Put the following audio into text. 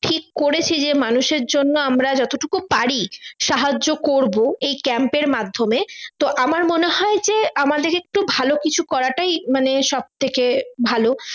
ঠিক করেছি যে মানুষের জন্য আমরা যতটুকু পারি সাহায্য করবো এই camp এর মাধ্যমে তো আমার মনে হয় যে আমাদের একটু ভালো কিছু করাটাই মানে সব থেকে ভালো